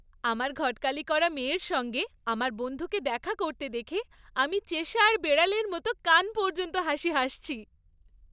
আমার ঘটকালি করা মেয়ের সঙ্গে আমার বন্ধুকে দেখা করতে দেখে আমি চেশায়ার বিড়ালের মতো কান পর্যন্ত হাসি হাসছি।